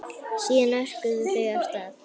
Síðan örkuðu þau af stað.